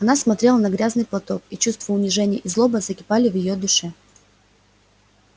она смотрела на грязный платок и чувство унижения и злоба закипали в её душе